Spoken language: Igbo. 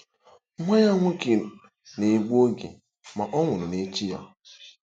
Nwa ya nwoke na-egbu oge, ma ọ nwụrụ n'echi ya.